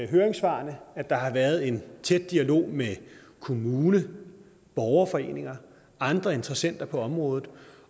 høringssvarene at der har været en tæt dialog med kommune borgerforeninger og andre interessenter på området